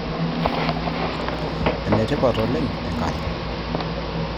Enitipat oleng' enkare